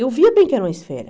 Eu via bem que era uma esfera.